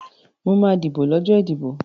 Mo máa dìbò lọ́jọ́ ìdìbò.